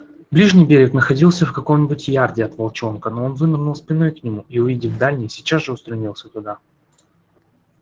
ближний берег находился в каком нибудь ярде от волчонка но он вынырнул спиной к нему и увидев дальний сейчас же устремился туда